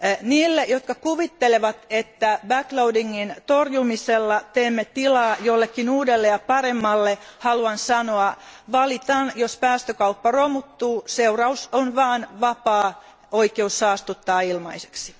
Niille, jotka kuvittelevat, että back loadingin torjumisella teemme tilaa jollekin uudelle ja paremmalle, haluan sanoa valitan, jos päästökauppa romuttuu, seuraus on vain vapaa oikeus saastuttaa ilmaiseksi.